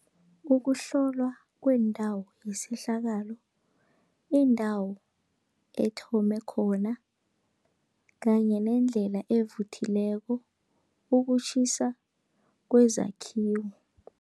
Ukuhlolwa kwendawo yesehlakalo, indawo ethome khona kanye nendlela evuthileko, ukutjhisa kwezakhiwo.